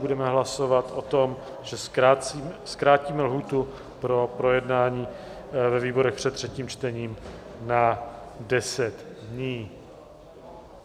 Budeme hlasovat o tom, že zkrátíme lhůtu pro projednání ve výborech před třetím čtením na 10 dní.